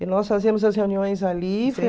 E nós fazíamos as reuniões ali.